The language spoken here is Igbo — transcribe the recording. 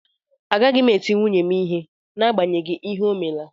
Agaghị m eti nwunye m ihe n'agbanyeghị ihe o mela